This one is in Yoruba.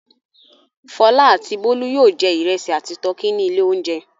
Fọlá àti Bólú yóò jẹ ìrẹsì àti tọkí ní ilé-oúnjẹ.